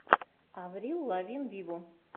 аврил лавин виво